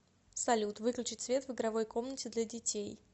салют выключить свет в игровой комнате для детей